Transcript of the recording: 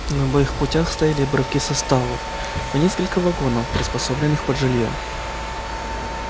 на обоих путях стояли обрывки составов по несколько вагонов приспособленных под жильё